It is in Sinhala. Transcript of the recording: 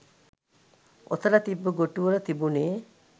ඔතල තිබ්බ ගොටු වල තිබුනේ